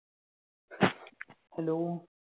Hello